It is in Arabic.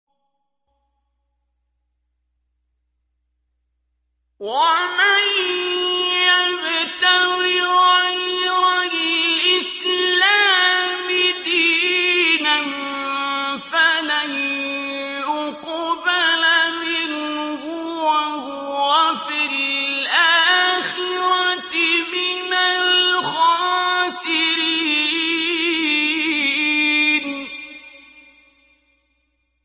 وَمَن يَبْتَغِ غَيْرَ الْإِسْلَامِ دِينًا فَلَن يُقْبَلَ مِنْهُ وَهُوَ فِي الْآخِرَةِ مِنَ الْخَاسِرِينَ